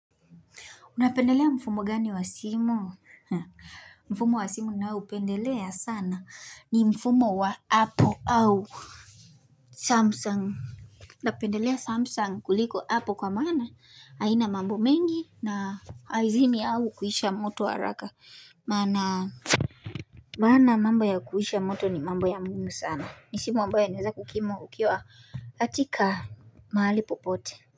Unapendelea mfumo gani wa simu? Mfumo wa simu ninaopendelea sana ni mfumo wa apple au samsung napendelea samsung kuliko apple kwa maana haina mambo mengi na haizimi au kuisha moto haraka maana maana mambo ya kuisha moto ni mambo ya muhimu sana. Ni simu ambayo inaweza kukumu ukiwa katika mahali popote.